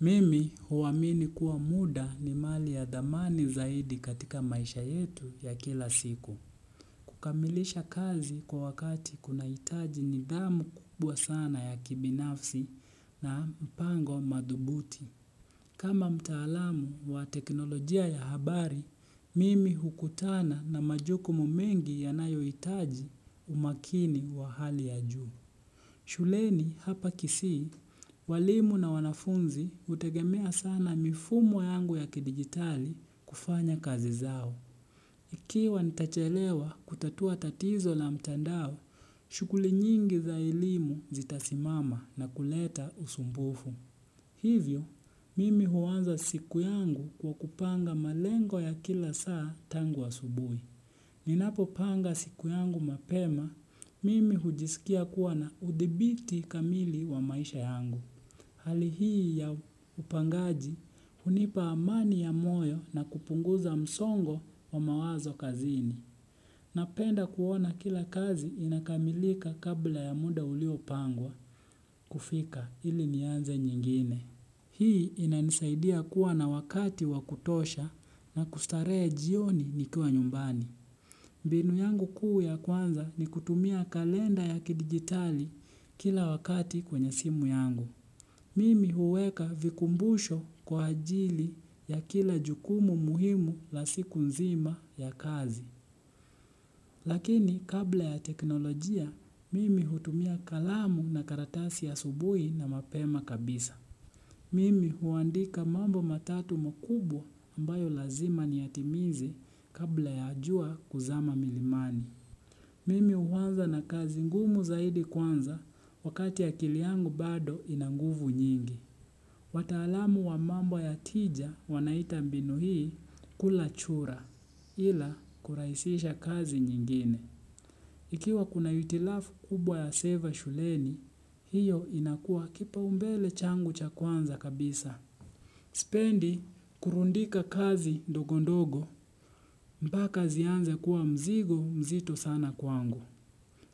Mimi huamini kuwa muda ni mali ya thamani zaidi katika maisha yetu ya kila siku. Kukamilisha kazi kwa wakati kuna hitaji nidhamu kubwa sana ya kibinafsi na mpango madhubuti. Kama mtaalamu wa teknolojia ya habari, mimi hukutana na majukumu mengi yanayo hitaji umakini wa hali ya juu. Shuleni hapa kisii, walimu na wanafunzi utegemea sana mifumo yangu ya kidigitali kufanya kazi zao. Ikiwa nitachelewa kutatua tatizo la mtandao, shughuli nyingi za elimu zitasimama na kuleta usumbufu. Hivyo, mimi huanza siku yangu kwa kupanga malengo ya kila saa tangu asubui. Ninapo panga siku yangu mapema, mimi hujisikia kuwa na udhibiti kamili wa maisha yangu. Hali hii ya upangaji, hunipa amani ya moyo na kupunguza msongo wa mawazo kazini. Napenda kuona kila kazi inakamilika kabla ya muda ulio pangwa, kufika ili nianze nyengine. Hii inanisaidia kuwa na wakati wakutosha na kustarehe jioni nikiwa nyumbani. Mbinu yangu kuu ya kwanza ni kutumia kalenda ya kidigitali kila wakati kwenye simu yangu. Mimi huweka vikumbusho kwa ajili ya kila jukumu muhimu la siku nzima ya kazi. Lakini kabla ya teknolojia, mimi hutumia kalamu na karatasi ya asubuhi na mapema kabisa. Mimi huandika mambo matatu makubwa ambayo lazima niyatimize kabla ya jua kuzama milimani. Mimi uanza na kazi ngumu zaidi kwanza wakati akili yangu bado inanguvu nyingi. Watalamu wa mambo ya tija wanaita mbinu hii kula chura ila kuraisisha kazi nyengine. Ikiwa kuna hitilafu kubwa ya seva shuleni, hii inakua kipaumbele changu cha kwanza kabisa. Spendi kurundika kazi dogondogo mpaka zianze kuwa mzigo mzito sana kwangu.